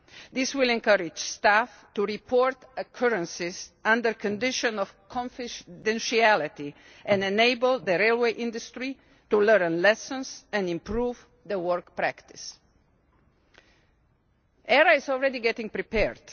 This will encourage staff to report occurrences under condition of confidentiality and enable the railway industry to learn lessons and improve work practice. ERA is already getting prepared.